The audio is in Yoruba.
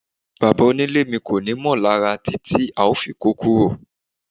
Bàbá onílé mi kò ni mí lára títí a fi kó kúrò